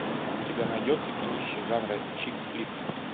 у тебя найдется кинище жанра чикфлик